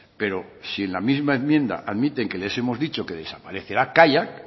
pero si en la misma enmienda admiten que les hemos dicho que desaparecerá kaiak